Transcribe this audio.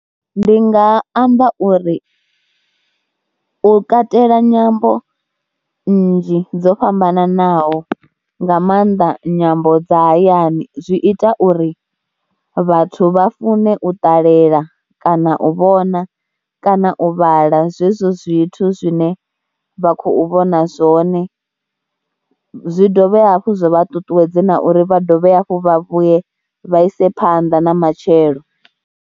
Ndi nga amba uri, u katela nyambo nnzhi dzo fhambanaho nga maanḓa nyambo dza hayani zwi ita uri vhathu vha fune u ṱalela kana u vhona kana u vhala zwezwo zwithu zwine vha khou vhona zwone. Zwi dovha hafhu zwa vha ṱuṱuwedze na uri vha dovhe hafhu vhuye vha ise phanḓa na matshelo.